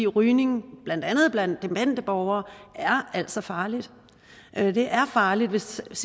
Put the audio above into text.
rygning blandt andet blandt demente borgere er altså farligt det er farligt hvis